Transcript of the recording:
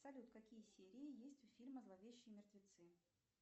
салют какие серии есть у фильма зловещие мертвецы